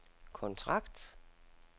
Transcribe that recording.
kontrakt